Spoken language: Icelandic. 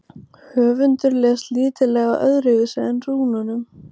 Höfundur les lítillega öðruvísi úr rúnunum.